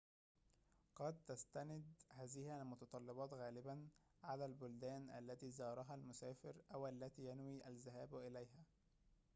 قد تستند هذه المتطلبات غالباً على البلدان التي زارها المسافر أو التي ينوي الذهاب إليها